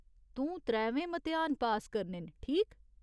तूं त्रैवै मतेहान पास करने न, ठीक ?